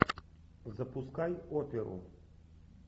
запускай оперу